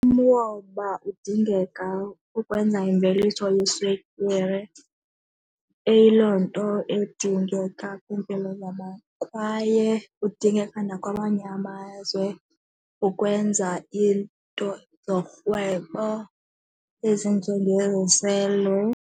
Umoba udingeka ukwenza imveliso yeswekire, eyiloo nto edingeka kwiimpilo zabantu kwaye udingeka nakwamanye amazwe ukwenza iinto zorhwebo ezinjengeziselo.